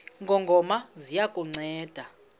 ngongoma ziya kukunceda